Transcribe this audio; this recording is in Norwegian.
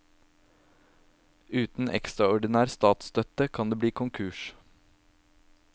Uten ekstraordinær statsstøtte kan det bli konkurs.